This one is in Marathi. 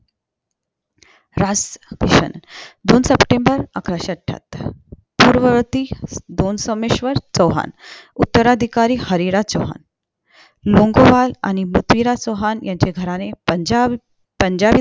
राज दोन september अकराशे अठ्ठातर चोवीस पूर्वर्ती दोन सोमेश्वर चौहान उत्तराधिकारी हरिराज चौहान लोंगोवाल आणि पृथ्वीराज चौहान यांचे घराणे पंजाब पंजाबी